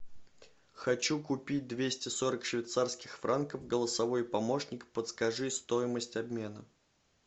хочу купить двести сорок швейцарских франков голосовой помощник подскажи стоимость обмена